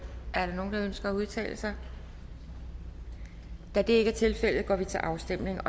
er der nogen der ønsker at udtale sig da det ikke er tilfældet går vi til afstemning